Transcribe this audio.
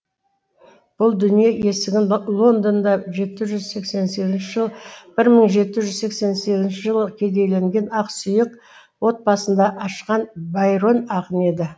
бұл дүние есігінді лондонда бір мың жеті жүз сексен сегізінші жылы кедейленген ақсүйек отбасында ашқан байрон ақын еді